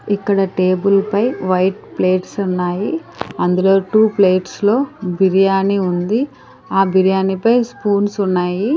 ఇక్కడ టేబుల్ పై white plates ఉన్నాయి అందులో టూ ప్లేట్స్ లో బిర్యానీ ఉంది ఆ బిర్యానీ పై స్పూన్స్ ఉన్నాయి.